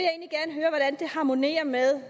harmonerer med